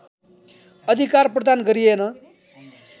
अधिकार प्रदान गरिएन